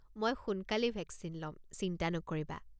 মই সোনকালেই ভেকচিন ল'ম, চিন্তা নকৰিবা।